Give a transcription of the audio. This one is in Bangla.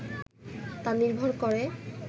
তা নির্ভর করে